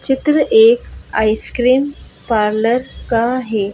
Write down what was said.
चित्र एक ice cream parlour का है।